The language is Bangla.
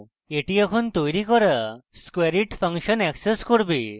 এটি এখন তৈরী হওয়া squareit ফাংশন অ্যাক্সেস করবে